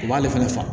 U b'ale fɛnɛ faga